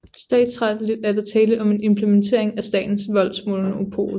Statsretsligt er der tale om en implementering af statens voldsmonopol